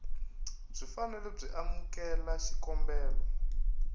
byi fanele byi amukela xikombelo